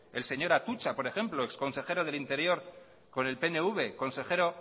el señor atutxa por ejemplo ex consejero del interior con el pnv consejero